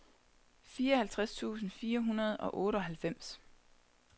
fireoghalvtreds tusind fire hundrede og otteoghalvfems